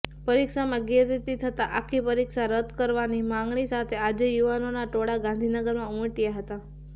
પરીક્ષામાં ગેરરીતી થતા આખી પરીક્ષા રદકરવાની માંગણી સાથે આજે યુવાનોના ટોળા ગાંધીનગરમાં ઉમટયા હતા